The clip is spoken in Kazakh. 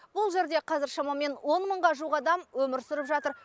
бұл жерде қазір шамамен он мыңға жуық адам өмір сүріп жатыр